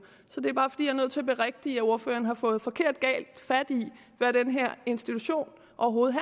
så det er bare fordi er nødt til at berigtige at ordføreren har fået forkert fat i hvad den her institution overhovedet